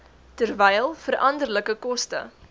terwyl veranderlike koste